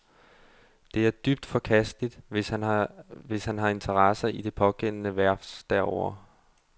Det er dybt forkasteligt, hvis han har interesser i det pågældende værft derovre.